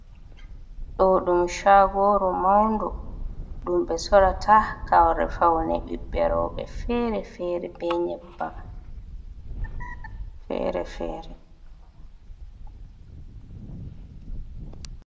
Ɗo ɗum chagoru maundu ɗum be sorrata kare faune ɓiɓɓe roɓe fere-fere be nyeɓbam fere-fere.